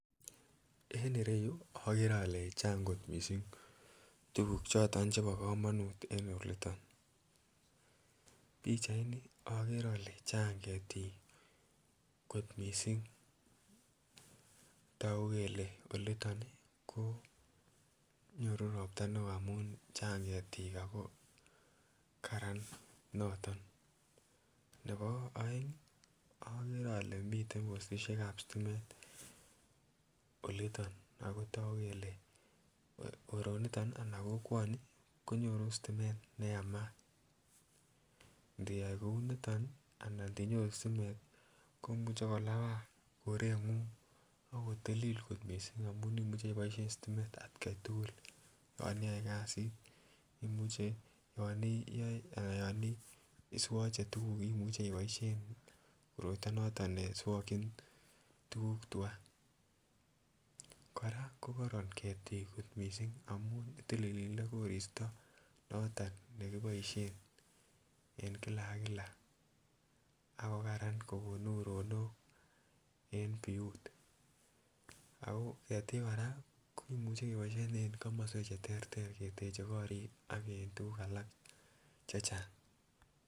En ireyuu okere ole Chang kot missing tukuk choton chebo komonut en oliton, pichaini okere ole Chang ketik kot missing toku kele oliton koo nyoru ropta neo amun Chang ketit ako Karan noton nebo oeng okere ole miten postishek ab stimet oliton ako toku kele koroniton nii anan kokwoni konyoru stimet neyamat. Ndiyai kouniton nii anan inyoruu stimet tii komuche kolabaa korenguny ak kotilil kot missing amun imuche iboishen stimet atgai tukul yon iyoe kasit imuche yon iyoe anan yoni swoche tukuk imuche iboishen koroito noton neswokin tukuk twaa. Koraa ko korom ketik kot missing amun itilile koristo noton nekiboishen en kila ak kila ak ko Karan kokon uronok en biut. Ako ketik Koraa komuche keboishen en komoswek en ortinwek cheterter keteche korik ak en tukuk alak chechang.